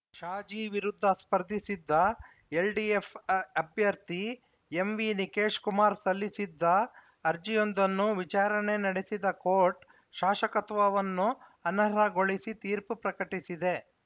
ಶಾಜಿ ವಿರುದ್ಧ ಸ್ಪರ್ಧಿಸಿದ್ದ ಎಲ್‌ಡಿಎಫ್‌ ಆ ಅಭ್ಯರ್ಥಿ ಎಂವಿ ನಿಕೇಶ್‌ ಕುಮಾರ್‌ ಸಲ್ಲಿಸಿದ್ದ ಅರ್ಜಿಯೊಂದನ್ನು ವಿಚಾರಣೆ ನಡೆಸಿದ ಕೋರ್ಟ್‌ ಶಾಸಕತ್ವವನ್ನು ಅನರ್ಹಗೊಳಿಸಿ ತೀರ್ಪು ಪ್ರಕಟಿಸಿದೆ